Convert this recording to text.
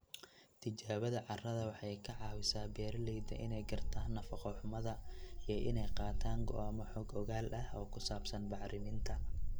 Tijaabada carrada waxay ka caawisaa beeralayda inay gartaan nafaqo-xumada iyo inay qaataan go'aamo xog ogaal ah oo ku saabsan bacriminta.